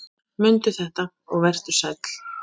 Mundu þetta og vertu sæll!